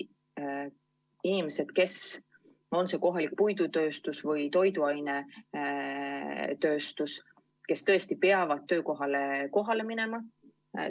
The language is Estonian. Inimesed, kes on tööl kohalikus puidutööstuses või toiduainetööstuses, tõesti peavad töökohale kohale minema.